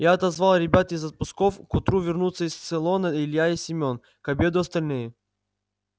я отозвал ребят из отпусков к утру вернутся с цейлона илья и семён к обеду остальные